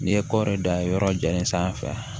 N'i ye kɔri dan ye yɔrɔ jalen sanfɛ